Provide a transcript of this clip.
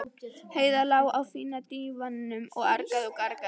Heiða lá á fína dívaninum og argaði og gargaði.